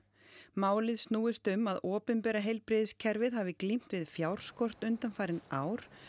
málið snúist um að opinbera heilbrigðiskerfið hafi glímt við fjárskort undanfarin ár